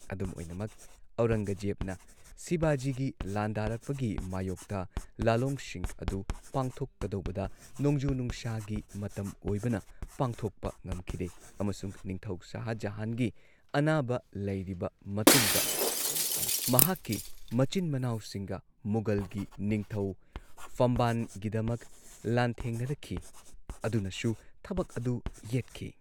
ꯑꯗꯨꯝ ꯑꯣꯏꯅꯃꯛ, ꯑꯧꯔꯪꯒꯖꯦꯕꯅ ꯁꯤꯕꯥꯖꯤꯒꯤ ꯂꯥꯟꯗꯥꯔꯛꯄꯒꯤ ꯃꯥꯌꯣꯛꯇ ꯂꯥꯂꯣꯡꯁꯤꯡ ꯑꯗꯨ ꯄꯥꯡꯊꯣꯛꯀꯗꯧꯕꯗ ꯅꯣꯡꯖꯨ ꯅꯨꯡꯁꯥꯒꯤ ꯃꯇꯝ ꯑꯣꯢꯕꯅ ꯄꯥꯡꯊꯣꯛꯄ ꯉꯝꯈꯤꯗꯦ꯫ ꯑꯃꯁꯨꯡ ꯅꯤꯡꯊꯧ ꯁꯥꯍ ꯖꯥꯍꯥꯟꯒꯤ ꯑꯅꯥꯕ ꯂꯩꯔꯤꯕ ꯃꯇꯨꯡꯗ ꯃꯍꯥꯛꯀꯤ ꯃꯆꯤꯟ ꯃꯅꯥꯎꯁꯤꯡꯒ ꯃꯨꯘꯜꯒꯤ ꯅꯤꯡꯊꯧ ꯐꯝꯕꯥꯟꯒꯤꯗꯃꯛ ꯂꯥꯟꯊꯦꯡꯅꯔꯛꯈꯤ ꯑꯗꯨꯅꯁꯨ ꯊꯕꯛ ꯑꯗꯨ ꯌꯦꯠꯈꯤ꯫